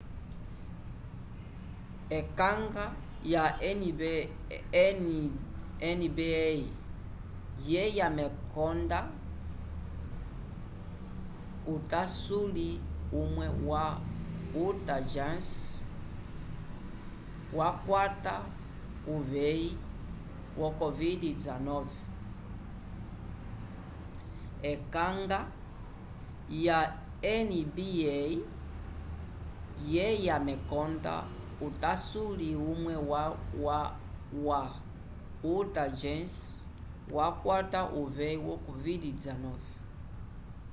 ekanga ya nba yeya mekonda utasuli umwe wa utah jazz wakwata uveyi yo covid-19